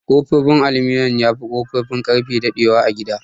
Ƙofofin aluminum yafi Ƙofofin Ƙarfe daɗe wa a gida.